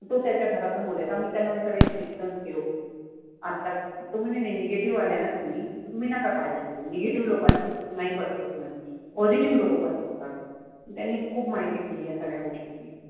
तो त्याच्या घरातनं बोलायचं आम्ही त्याला तरी distance ठेऊन आताच तो म्हणे नाही negative आलाय ना तुम्ही तर तुम्ही नका काळजी करू negative लोकांचं नाही म्हणे positive पसरवतात त्यांनी खूप माहिती दिली या सगळ्या गोष्टींची